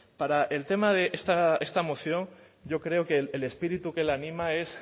para el tema de esta moción yo creo que el espíritu que la anima es